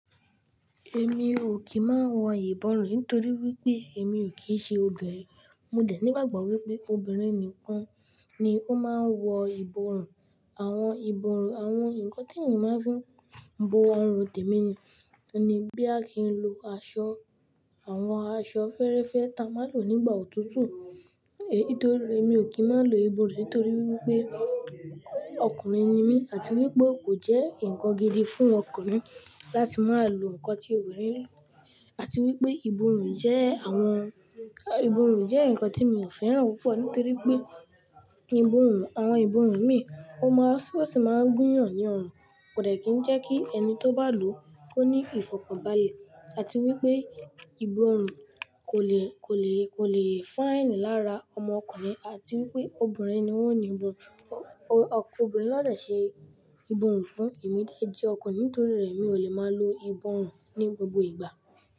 Èmi ò kì í máa ń wọ ìbọrùn nítorí wípé èmi ò kì í ṣe obìnrin. Mo dè ní ìgbàgbọ́ wípé obìnrin nìkan ni ó máa ń wọ ìbọrùn. Àwọn ìbọrùn, àwọn ǹkan tí èmi máa ń fí bo àrùn tẹ̀mì ni. Boya kì ń lo aṣọ, àwọn aṣọ fẹ́réfẹ́ ta a máa ń lò nígbà òtútù. Èyí nítorí èmi ò kí ń máa lo ìbọrùn nítorí wípé ọkùnrin ni mí àti wípé kò jẹ́ ǹkan gidi fún ọkùnrin láti máa lò ǹkan tí obìnrin ń lò àti wípé ìbọrùn jẹ́ àwọn, ìbọrùn jẹ́ ǹkan tí mi ò fẹ́ràn púpọ̀ nítorí pé ìbọrùn, àwọn ìbọrùn mí o máa sì máa ń gúnyàn ní ọrùn kò dẹ̀ kí ń jẹ́ kí ẹni tó bá lò ó ní ìfọ̀kànbalẹ̀ àti wípé ìbọrùn kò le, kò le, kò le fáìnì lára ọmọ ọkùnrin àti wípé obìnrin ni wọ́n ni ìbọrun, obìnrin ló dẹ̀ ṣe ìbọrùn fún èmí dè jé ọkùnrin nítorí rẹ̀ mi ò le máa lo ìbọrùn ní gbogbo ìgbà.